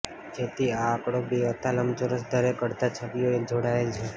જેથી આ આંકડો બે હતા લંબચોરસ દરેક અડધા છબીઓ એક જોડાયેલ છે